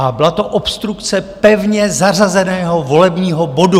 A byla to obstrukce pevně zařazeného volebního bodu.